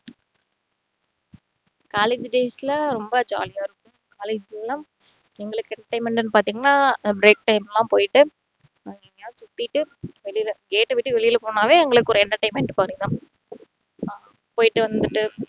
college days ல ரொம்ப jolly ஆ இருக்கும் college எல்லாம் எங்களுக்கு entertainment னு பாத்தீங்கன்னா break time ல போயிட்டு அங்க எங்கேயாவது சுத்திட்டு வெளில gate அ விட்டு வெளில போனாவே எங்களுக்கு ஒரு entertainment கிடைக்கும் போயிட்டு வந்துட்டு